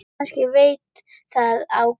Kannski veit það á gott.